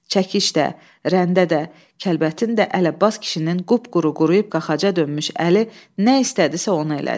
Çəkiş də, rəndə də, kəlbətin də Əli Abbas kişinin qıpquru-quruyub qaxaca dönmüş əli nə istədisə, onu elədi.